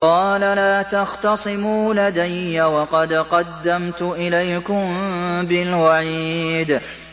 قَالَ لَا تَخْتَصِمُوا لَدَيَّ وَقَدْ قَدَّمْتُ إِلَيْكُم بِالْوَعِيدِ